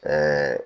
Ɛɛ